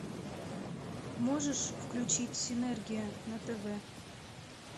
можешь включить синергия на тв